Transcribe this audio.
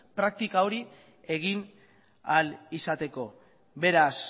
praktika hori egin ahal izateko beraz